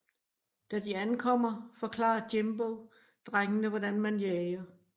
Da de ankomer forklarer Jimbo drengene hvordan man jager